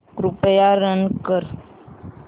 कृपया रन कर